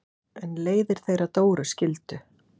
En leiðir þeirra Dóru skildu.